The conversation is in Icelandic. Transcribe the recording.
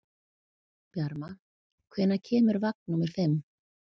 Bjarma, hvenær kemur vagn númer fimm?